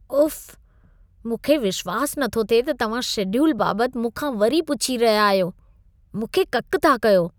उफ़, मूंखे विश्वास न थो थिए त तव्हां शेड्यूल बाबति मूंखा वरी पुछी रहिया आहियो। मूंखे ककि था कयो।